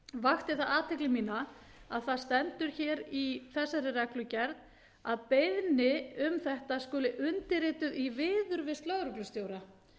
vakti það athygli mína að það stendur hér í þessari reglugerð að beiðni um þetta skuli undirrituð í viðurvist lögreglustjóra